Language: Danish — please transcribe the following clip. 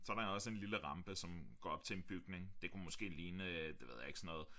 Så der også en lille rampe som går op til en bygning det kunne måske lige det ved jeg ikke sådan noget